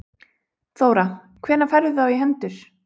Þóra: Hvenær færðu þá í hendur?